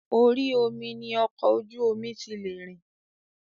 Orí omi ni ọkọ̀ ojú omi ti lè rìn.